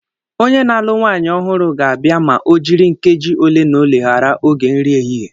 Onye na-alụ nwanyị ọhụrụ ga-abịa ma ojiri nkeji ole na ole ghara oge nri ehihie